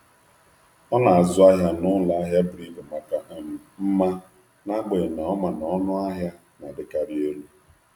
Ọ na-azụ ahịa n’ụlọ ahịa buru ibu maka mma, n’agbanyeghị na ọ ma na ọnụ ahịa na-adịkarị elu.